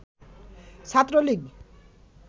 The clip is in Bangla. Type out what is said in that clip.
ছাত্রলীগ